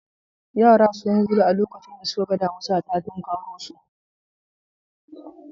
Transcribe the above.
Yara sun gudu a lokacin da suka ga damisa ta tukaro su.